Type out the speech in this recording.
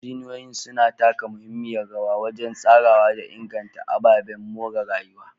Injiniyoyin suna taka muhimmiyar rawa wajen tsarawa da inganta ababen more rayuwa.